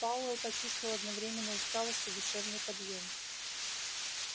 пауэлл почувствовал одновременно усталость и душевный подъём